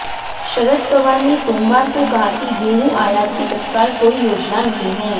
शरद पवार ने सोमवार को कहा कि गेहूं आयात की तत्काल कोई योजना नहीं है